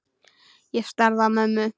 Ég starði á mömmu.